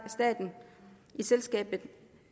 staten i selskabet